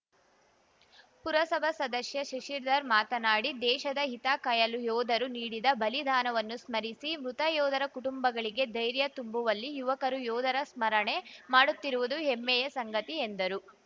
ಪುರಸಭಾ ಸದಸ್ಯ ಶಶಿಧರ್‌ ಮಾತನಾಡಿ ದೇಶದ ಹಿತಕಾಯಲು ಯೋಧರು ನೀಡಿದ ಬಲಿದಾನವನ್ನು ಸ್ಮರಿಸಿ ಮೃತಯೋಧರ ಕುಟುಂಬಗಳಿಗೆ ಧೈರ್ಯ ತುಂಬುವಲ್ಲಿ ಯುವಕರು ಯೋಧರ ಸ್ಮರಣೆ ಮಾಡುತ್ತಿರುವುದು ಹೆಮ್ಮೆಯ ಸಂಗತಿ ಎಂದರು